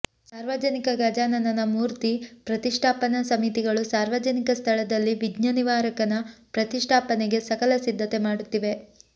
ಸಾರ್ವಜನಿಕ ಗಜಾನನ ಮೂರ್ತಿ ಪ್ರತಿಷ್ಠಾಪನಾ ಸಮಿತಿಗಳು ಸಾರ್ವಜನಿಕ ಸ್ಥಳದಲ್ಲಿ ವಿಘ್ನನಿವಾರಕನ ಪ್ರತಿಷ್ಠಾಪನೆಗೆ ಸಕಲ ಸಿದ್ಧತೆ ಮಾಡುತ್ತಿವೆ